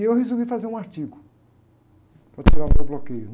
E eu resolvi fazer um artigo para tirar o meu bloqueio, né?